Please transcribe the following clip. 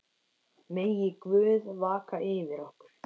Megi Guð vaka yfir ykkur.